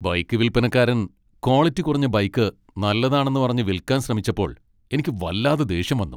Bike വിൽപനക്കാരൻ quality കുറഞ്ഞ bike നല്ലതാണെന്ന് പറഞ്ഞ് വിൽക്കാൻ ശ്രമിച്ചപ്പോൾ എനിക്ക് വല്ലാതെ ദേഷ്യം വന്നു .